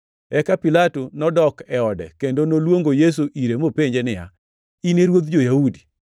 Eka Pilato nodok e ode, kendo noluongo Yesu ire mopenje niya, “In e ruodh jo-Yahudi?”